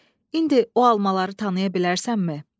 İndi o almaları tanıya bilərsənmi?